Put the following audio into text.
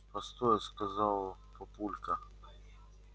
постой сказал папулька